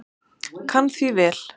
Kann því vel.